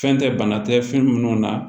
Fɛn tɛ bana tɛ fɛn minnu na